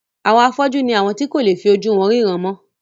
Àwọn afọ́jú ni àwọn tí kò lè fi ojú wọn ríran mọ́.